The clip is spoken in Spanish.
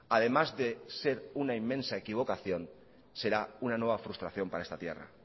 además de ser una inmensa equivocación será una nueva frustración para esta tierra